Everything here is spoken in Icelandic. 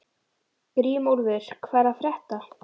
Grímúlfur, hvað er að frétta?